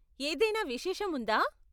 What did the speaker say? ఏదైనా విశేషం ఉందా?